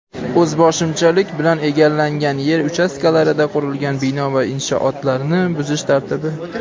O‘zboshimchalik bilan egallangan yer uchastkalarida qurilgan bino va inshootlarni buzish tartibi.